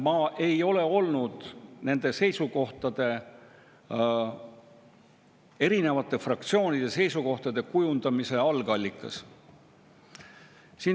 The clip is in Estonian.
Ma ei ole olnud nende seisukohtade, erinevate fraktsioonide seisukohtade kujundamise algallikas.